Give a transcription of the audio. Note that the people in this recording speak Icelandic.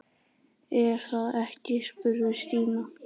Er það ekki? spurði Stína.